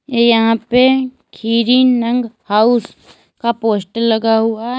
यहां पे खीरी नंग हाउस का पोस्टर लगा हुआ है।